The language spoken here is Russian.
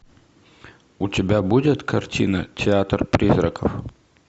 у тебя будет картина театр призраков